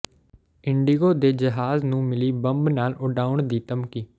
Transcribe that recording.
IndiGo ਦੇ ਜਹਾਜ਼ ਨੂੰ ਮਿਲੀ ਬੰਬ ਨਾਲ ਉਡਾਉਣ ਦੀ ਧਮਕੀ